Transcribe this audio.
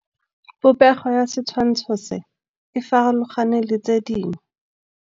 Popêgo ya setshwantshô se, e farologane le tse dingwe.